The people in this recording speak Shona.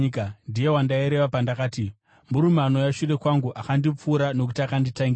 Ndiye wandaireva pandakati, ‘Murume anouya shure kwangu akandipfuura nokuti akanditangira.’